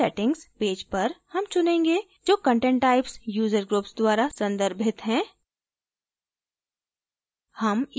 यहाँ settings page पर हम चुनेंगे जो content types user groups द्वारा संदर्भित हैं